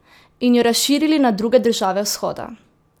In jo razširili na druge države vzhoda!